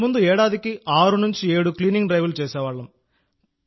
ఇంతకుముందు ఏడాదికి 67 క్లీనింగ్ డ్రైవ్లు చేసేవాళ్లం